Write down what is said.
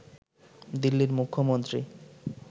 দিল্লির মুখ্যমন্ত্রী